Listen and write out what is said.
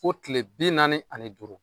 Fo kile bi naani ani duuru.